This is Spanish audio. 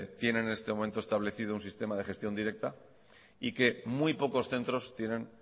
tienen en este momento establecido un sistema de gestión directa y que muy pocos centros tienen